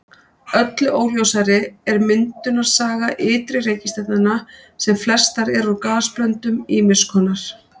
Öllu óljósari er myndunarsaga ytri reikistjarnanna sem flestar eru úr gasblöndum ýmiss konar.